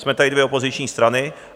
Jsme tady dvě opoziční strany.